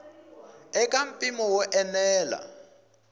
i ka mpimo wo enela